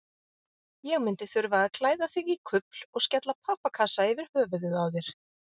Ég myndi þurfa að klæða þig í kufl og skella pappakassa yfir höfuðið á þér.